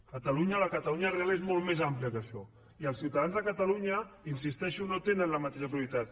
catalunya la catalunya real és molt més àmplia que això i els ciutadans de catalunya hi insisteixo no tenen la mateixa prioritat